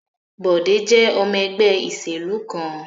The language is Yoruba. Bọ̀dé jẹ́ ọmọ ẹgbẹ́ ìṣèlú kan.